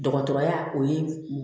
Dɔgɔtɔrɔya o ye